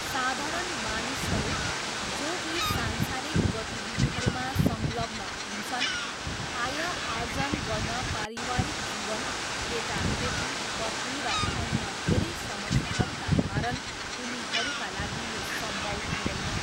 साधारण मानिसहरू जो यी संसारिक गतिविधिहरूमा संग्लग्न हुन्छन्, आयआर्जन गर्न पारिवारिक जीवन, केटाकेटी, पत्नी र अन्य धेरै समस्याहरूका कारण उनीहरूका लागि यो सम्भव हुँदैन।